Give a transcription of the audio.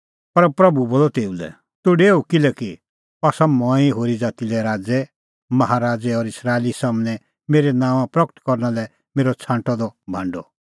पर प्रभू बोलअ तेऊ लै तूह डेऊ किल्हैकि अह आसा मंऐं होरी ज़ाती लै राज़ै माहा राज़ै और इस्राएली सम्हनै मेरै नांओंआं प्रगट करना लै मेरअ छ़ांटअ द भांडअ